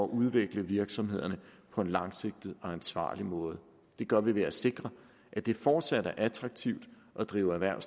udvikle virksomhederne på en langsigtet og ansvarlig måde det gør vi ved at sikre at det fortsat er attraktivt at drive erhverv